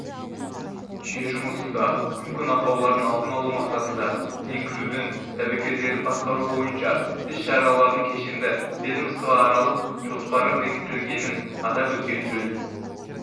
жүйе жұмысында мүмкін ақаулардың алдын алу мақсатында енгізудің тәуекелдерін басқару бойынша іс-шаралардың кешенді ведомствоаралық жоспары бекітілгенін атап өткен жөн